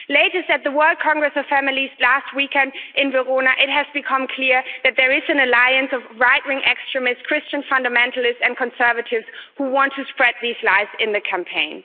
The latest at the World Congress of Families last weekend in Verona it became clear that there is an alliance of right wing extremists, Christian fundamentalists and conservatives who want to spread these lies in the campaign.